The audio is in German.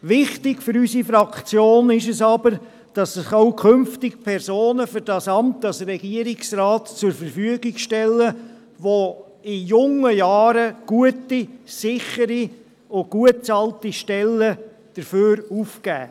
Wichtig für unsere Fraktion ist es aber, dass sich auch künftig Personen für das Amt als Regierungsrat zur Verfügung stellen, welche in jungen Jahren gute, sichere und gut bezahlte Stellen dafür aufgeben.